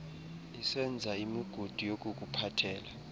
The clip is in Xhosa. isenza imigudu yokukuphathela